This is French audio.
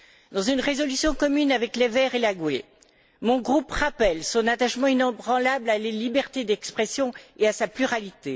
Dans une résolution commune avec les Verts et le groupe GUE, mon groupe rappelle son attachement inébranlable à la liberté d'expression et à sa pluralité.